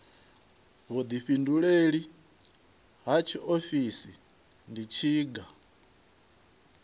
vhuḓifhinduleli ha tshiofisi ndi tshiga